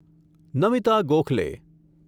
Namita Gokhale